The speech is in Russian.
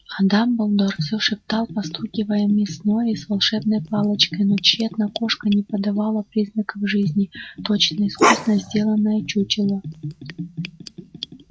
а дамблдор всё шептал постукивая миссис норрис волшебной палочкой но тщетно кошка не подавала признаков жизни точно искусно сделанное чучело